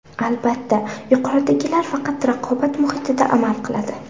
Albatta, yuqoridagilar faqat raqobat muhitida amal qiladi”.